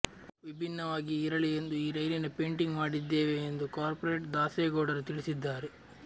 ವಿಭಿನ್ನವಾಗಿ ಇರಲಿ ಎಂದು ಈ ರೈಲಿನ ಪೇಟಿಂಗ್ ಮಾಡಿದ್ದೇವೆ ಎಂದು ಕಾರ್ಪೋರೇಟರ್ ದಾಸೇಗೌಡರು ತಿಳಿಸಿದ್ದಾರೆ